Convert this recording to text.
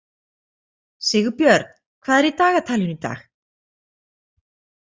Sigbjörn, hvað er í dagatalinu í dag?